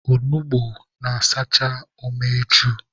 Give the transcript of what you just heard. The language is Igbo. Onugbu na-asachakwa umeju.